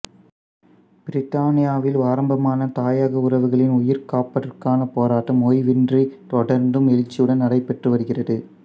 பிரித்தானியாவில் ஆரம்பமான தாயக உறவுகளின் உயிர்காப்பதற்கான போராட்டம் ஓய்வின்றி தொடர்ந்தும் எழுச்சியுடன் நடைபெற்று வருகிறது